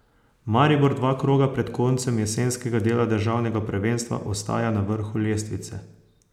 Maribor dva kroga pred koncem jesenskega dela državnega prvenstva ostaja na vrhu lestvice.